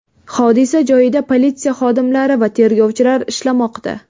Hodisa joyida politsiya xodimlari va tergovchilar ishlamoqda.